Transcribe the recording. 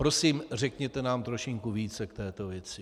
Prosím, řekněte nám trošinku více v této věci.